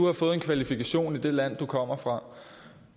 har fået en kvalifikation i det land de kommer fra